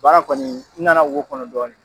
Baara kɔni n nana wo kɔnɔ dɔɔni.